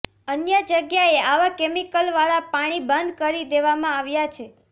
અન્ય જગ્યાએ આવા કેમીકલવાળા પાણી બંધ કરી દેવામા આવ્યા છે